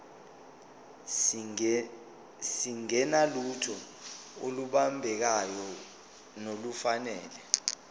singenalutho olubambekayo nolufanele